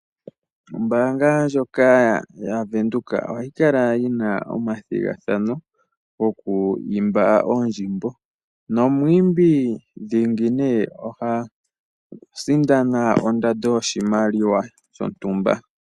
Ombaanga ndjoka ya Venduka ohayi kala yina omathigathano goku imba oondjimbo, nomwiimbi ndingi oha sindana ondando yoshimaliwa shontumba.